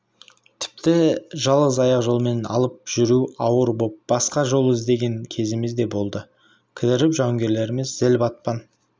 тіпті жалғыз аяқ жолмен алып жүру ауыр боп басқа жол іздеген кезіміз де болды кідіріп жауынгерлеріміз зіл батпан